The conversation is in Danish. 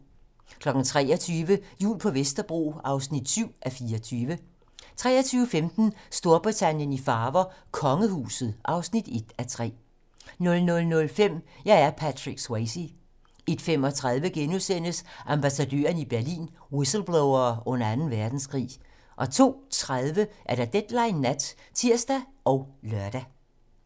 23:00: Jul på Vesterbro (7:24) 23:15: Storbritannien i farver: Kongehuset (1:3) 00:05: Jeg er Patrick Swayze 01:35: Ambassadørerne i Berlin: Whistleblowere under Anden Verdenskrig * 02:30: Deadline nat (tir og lør)